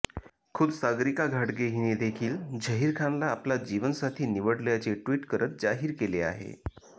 खुद्द सागरिका घाटगे हिने देखील झहीर खानला आपला जीवनसाथी निवडल्याचे ट्विट करत जाहीर केले आहे